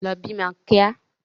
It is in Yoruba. Lọ bímọ kíá!